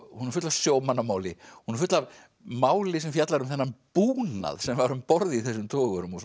hún er full af sjómannamáli hún er full af máli sem fjallar um þennan búnað sem var um borð í þessum togurum